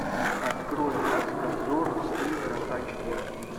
открой маска зорро ультра ач ди